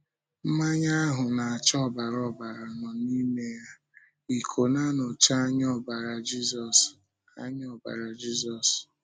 Mmanya ahụ na-acha ọbara ọbara nọ n’ime ìkó na-anọchi anya ọbara Jízọs. anya ọbara Jízọs.